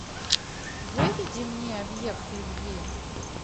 выведи мне объект любви